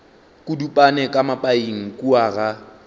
kudupane ka mapaing kua ga